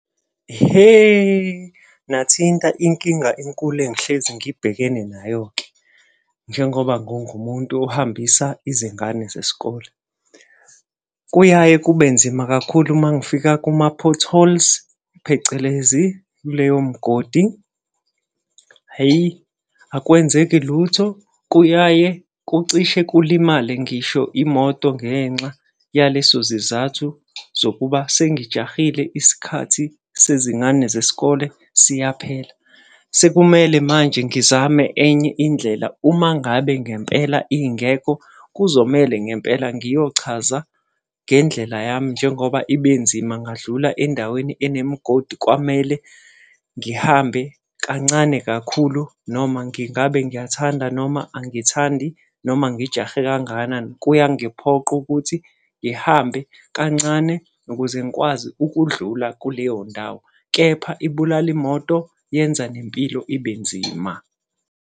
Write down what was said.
Ihe, nathinta inkinga enkulu engihlezi ngibhekene nayo-ke, njengoba ngingumuntu ohambisa izingane zesikole. Kuyaye kube nzima kakhulu uma ngifika kuma-potholes, phecelezi kuleyo mgodi. Hheyi akwenzeki lutho, kuyaye kucishe kulimale ngisho imoto ngenxa yaleso zizathu zokuba sengijahile isikhathi sezingane zesikole siyaphela. Sekumele manje ngizame enye indlela uma ngabe ngempela ingekho, kuzomele ngempela ngiyochaza ngendlela yami njengoba ibe nzima, ngadlula endaweni enemigodi kwamele ngihambe kancane kakhulu noma ngingabe ngiyathanda noma angithandi. Noma ngijahe kangakanani, kuyangiphoqa ukuthi ngihambe kancane ukuze ngikwazi ukudlula kuleyo ndawo kepha ibulala imoto. Yenza nempilo ibe nzima.